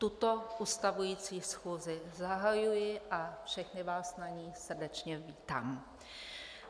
Tuto ustavující schůzi zahajuji a všechny vás na ní srdečně vítám.